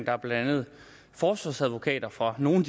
er blandt andet forsvarsadvokater for nogle